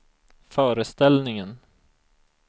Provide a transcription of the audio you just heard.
föreställningen